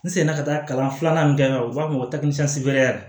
N seginna ka taa kalan filanan min kɛ u b'a fɔ o ma ko